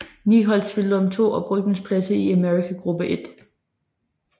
Ni hold spillede om to oprykningspladser til Amerika gruppe I